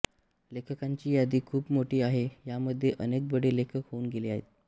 लेखकांची यादी खूप मोठी आहे या मध्ये अनेक बडे लेखक होऊन गेले आहेत